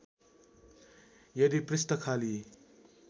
यदि पृष्ठ खाली